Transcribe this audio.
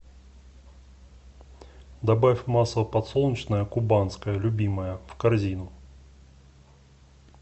добавь масло подсолнечное кубанское любимое в корзину